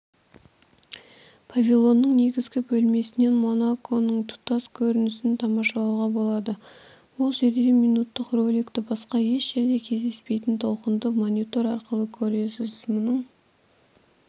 павильонның негізгі бөлмесінен монаконың тұтас көрінісін тамашалауға болады бұл жерде минуттық роликті басқа еш жерде кездеспейтін толқынды монитор арқылы көресіз мұның